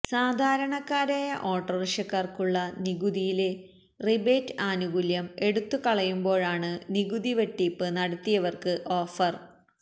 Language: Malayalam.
സാധാരണക്കാരായ ഓട്ടോറിക്ഷക്കാർക്കുള്ള നികുതിയിലെ റിബേറ്റ് ആനുകൂല്യം എടുത്തുകളയുമ്പോഴാണ് നികുതി വെട്ടിപ്പ് നടത്തിയവർക്ക് ഓഫര്